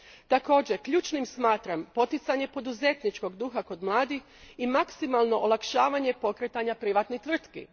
Također, ključnim smatram poticanje poduzetničkog duha kod mladih i maksimalno olakšavanje pokretanja privatnih tvrtki.